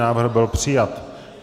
Návrh byl přijat.